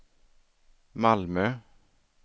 Malmö